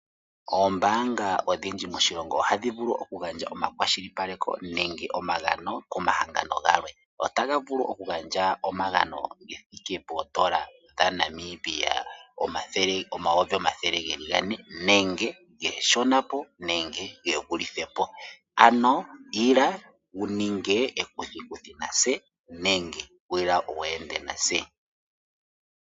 Oombanga odhindji moshilongo ohadhi vulu oku gandja omakwashilipaleko nenge omagano komahangano galwe, ohaga vulu oku gandja omagano ge thiike N$400 000 nenge iishonapo nenge yivulithepo, ano ila wu ninge ekuthikithi natse nenge ila wu ende natse.